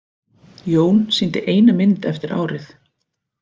Jón sýndi eina mynd eftir árið.